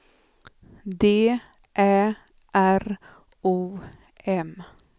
D Ä R O M